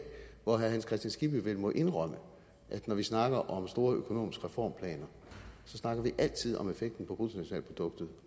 for herre hans kristian skibby må vel indrømme at når vi snakker om store økonomiske reformplaner snakker vi altid om effekten på bruttonationalproduktet